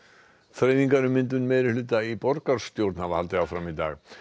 þreifingar um myndun meirihluta í borgarstjórn hafa haldið áfram í dag